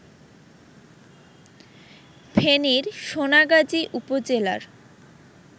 ফেনীর সোনাগাজী উপজেলার